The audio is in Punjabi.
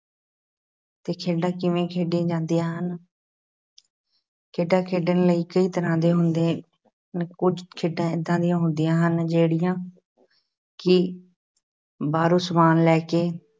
ਤੇ ਖੇਡਾਂ ਕਿਵੇਂ ਖੇਡੀਆਂ ਜਾਂਦੀਆਂ ਹਨ ਖੇਡਾਂ ਖੇਡਣ ਲਈ ਕਈ ਤਰ੍ਹਾਂ ਦੇ ਹੁੰਦੇ ਹਨ, ਕੁਛ ਖੇਡਾਂ ਏਦਾਂ ਦੀਆਂ ਹੁੰਦੀਆਂ ਹਨ ਜਿਹੜੀਆਂ ਕਿ ਬਾਹਰੋਂ ਸਾਮਨ ਲੈ ਕੇ